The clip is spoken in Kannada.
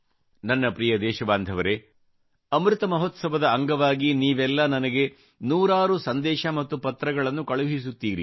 ನನ್ನ ಪ್ರಿಯ ದೇಶಬಾಂಧವರೆ ಅಮೃತ್ ಮಹೋತ್ಸವದ ಅಂಗವಾಗಿ ನೀವೆಲ್ಲ ನನಗೆ ನೂರಾರು ಸಂದೇಶ ಮತ್ತು ಪತ್ರಗಳನ್ನು ಕಳುಹಿಸುತ್ತೀರಿ